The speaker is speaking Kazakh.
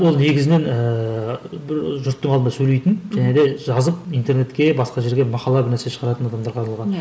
ол негізінен ііі бір жұрттың алдында сөйлейтін және де жазып интернетке басқа жерге мақала бірнәрсе шығаратын адамдарға арналған